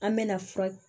An mɛna fura